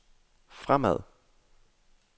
fremad